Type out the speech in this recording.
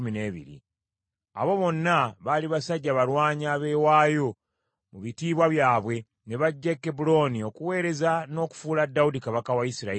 Abo bonna baali basajja balwanyi abeewaayo mu bitiibwa byabwe. Ne bajja e Kebbulooni okuweereza n’okufuula Dawudi kabaka wa Isirayiri yenna.